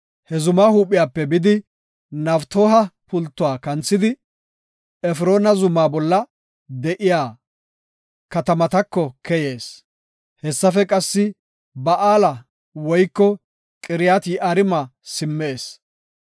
He zumaa huuphiyape bidi, Naftooha pultuwa kanthidi, Efroona zumaa bolla de7iya katamatako keyees. Hessafe qassi Ba7aala woyko Qiriyat-Yi7aarima simmees.